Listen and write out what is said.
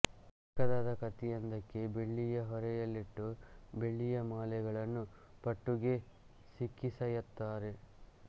ಚಿಕ್ಕದಾದ ಕತ್ತಿಯೊಂದಕ್ಕೆ ಬೆಳ್ಳಿಯ ಹೊರೆಯಲ್ಲಿಟ್ಟು ಬೆಳ್ಳಿಯ ಮಾಲೆಗಳನ್ನು ಪಟ್ಟುಗೆ ಸಿಕ್ಕಿಸಯತ್ತಾರೆ